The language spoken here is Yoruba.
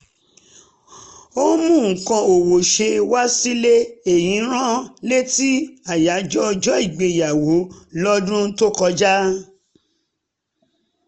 ó mú nǹkan ọwọ́ṣe wá sílé èyí rán létí àyájọ́ ọjọ́ ìgbéyàwó lọ́dún kọjá